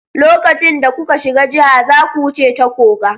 Lokacin da kuka shiga jiha, zaku wuce ta koga.